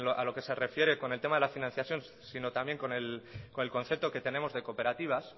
a lo que se refiere con el tema de la financiación sino también con el concepto que tenemos de cooperativas